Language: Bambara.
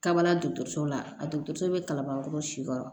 Kabala dɔgɔtɔrɔso la dɔgɔtɔrɔso bɛ kalabankɔrɔ si kɔrɔ